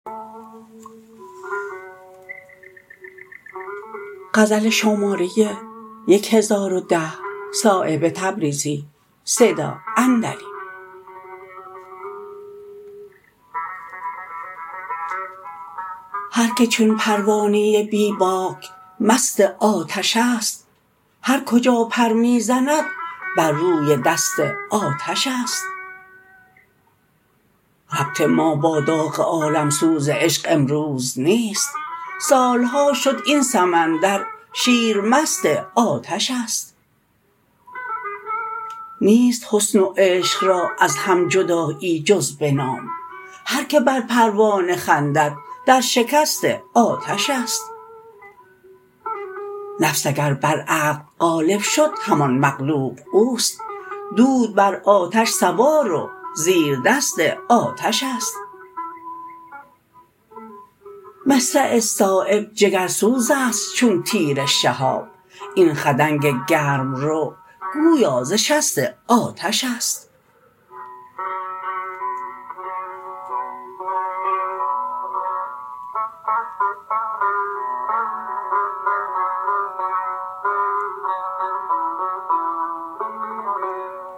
هر که چون پروانه بی باک مست آتش است هر کجا پر می زند بر روی دست آتش است ربط ما با داغ عالمسوز عشق امروز نیست سالها شد این سمندر شیر مست آتش است نیست حسن و عشق را از هم جدایی جز به نام هر که بر پروانه خندد در شکست آتش است نفس اگر بر عقل غالب شد همان مغلوب اوست دود بر آتش سوار و زیر دست آتش است مصرع صایب جگرسوزست چون تیر شهاب این خدنگ گرمرو گویا ز شست آتش است